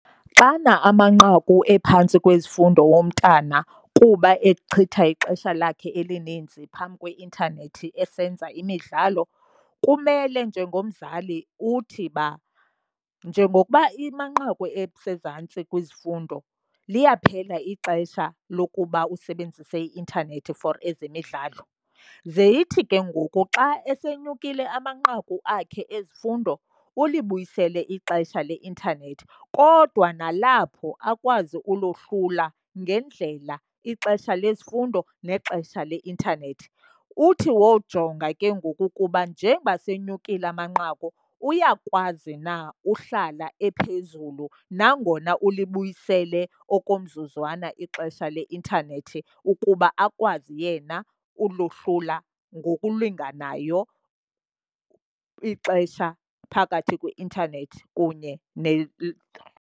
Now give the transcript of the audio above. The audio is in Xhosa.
Xana amanqaku ephantsi kwezifundo womntana kuba echitha ixesha lakhe elininzi phambi kweintanethi esenza imidlalo, kumele njengomzali uthi uba njengokuba amanqaku esezantsi kwizifundo liyaphela ixesha lokuba usebenzise i-intanethi for ezemidlalo. Ze ithi ke ngoku xa esenyukile amanqaku akhe ezifundo ulibuyisele ixesha leintanethi, kodwa nalapho akwazi ulohlula ngendlela ixesha lezifundo nexesha leintanethi. Uthi wojonga ke ngoku ukuba njengoba senyukile amanqaku uyakwazi na uhlala ephezulu nangona ulibuyisele okomzuzwana ixesha leintanethi, ukuba akwazi yena ulohlula ngokulinganayo ixesha phakathi kweintanethi kunye .